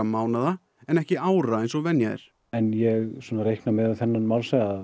mánaða en ekki ára eins og venja er ég svona reikna með miðað við þennan málshraða að